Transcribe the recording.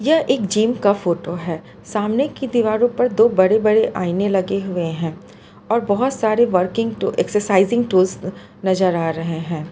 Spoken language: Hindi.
यह एक जिम का फोटो है सामने की दीवारों पर दो बड़े बड़े आईने लगे हुए हैं और बहुत सारे वर्किंग एक्सरसाइजिंग टूल नजर आ रहे हैं।